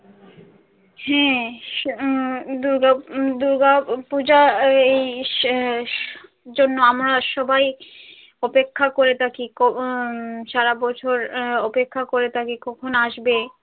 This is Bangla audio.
হ্যাঁ উম দূর্গাপূজা এই জন্য আমরা সবাই অপেক্ষা করে থাকি উম সারাবছর অপেক্ষা করে থাকি কখন আসবে।